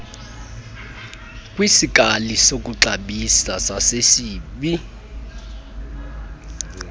kwisikali sokuxabisa sasesib